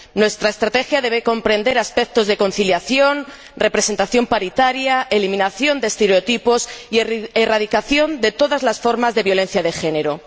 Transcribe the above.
Nuestra estrategia debe comprender aspectos de conciliación, representación paritaria, eliminación de estereotipos y erradicación de todas las formas de violencia de género.